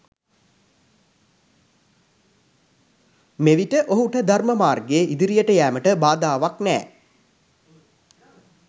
මෙවිට ඔහුට ධර්ම මාර්ගයේ ඉදිරියට යෑමට බාධාවක් නෑ